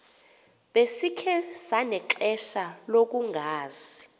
besikhe sanexesha lokungazi